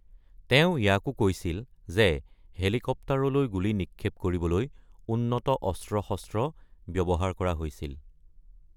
তেওঁ ইয়াকো কৈছিল যে হেলিকপ্টাৰলৈ গুলি নিক্ষেপ কৰিবলৈ উন্নত অস্ত্ৰ-শস্ত্ৰ ব্যৱহাৰ কৰা হৈছিল ।